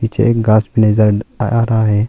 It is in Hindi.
नीचे एक गाछ भी नजर आ रहा है।